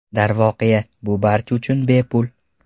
Darvoqe, bu barcha uchun bepul!